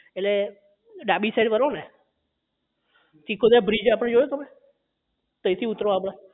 એટલે ડાબી side વળો ને ચીખોલા bridge આપડે જોયું તમે તઇ થી ઉતરો આપણે